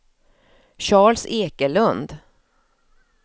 Charles Ekelund